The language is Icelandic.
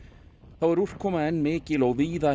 þá er úrkoma mikil og víða